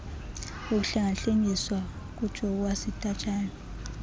ukuhlengahlengiswa ngujowo wasidajayo